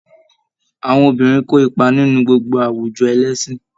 Àwọn obìnrin kó ipa nínú gbogbo àwùjọ ẹlẹ́sìn